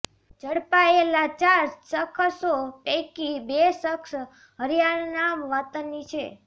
ઝડપાયેલા ચાર શખસો પૈકી બે શખસ હરિયાના વતની છે